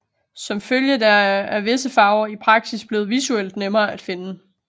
Som følge deraf er visse farver i praksis blevet visuelt nemmere at finde